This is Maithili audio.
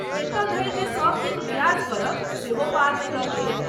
एतऽ धरि जे सब दिन रियाज करब सेहो पार नै लगैए।